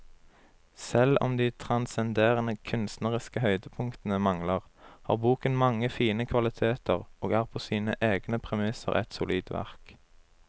Selv om de transcenderende kunstneriske høydepunktene mangler, har boken mange fine kvaliteter og er på sine egne premisser et solid verk.